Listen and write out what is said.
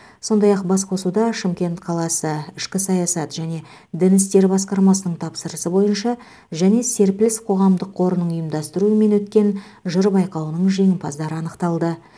сондай ақ басқосуда шымкент қаласы ішкі саясат және дін істері басқармасының тапсырысы бойынша және серпіліс қоғамдық қорының ұйымдастыруымен өткен жыр байқауының жеңімпаздары анықталды